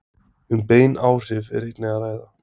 Um bein áhrif er einnig að ræða.